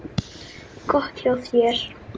Gott hjá þér.